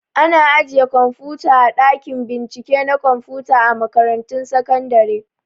Ana ajiye kwamfuta a ɗakin bincike na kwamfuta a makaratun sakandare